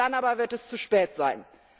Dann aber wird es zu spät sein.